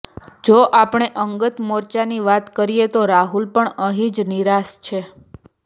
જો આપણે અંગત મોરચાની વાત કરીએ તો રાહુલ પણ અહીં નિરાશ છે